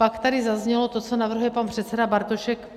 Pak tady zaznělo to, co navrhuje pan předseda Bartošek.